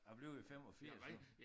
Jeg bliver jo 85 nu